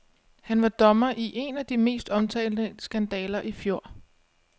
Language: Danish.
Han var dommer i en af de mest omtalte skandaler i fjor.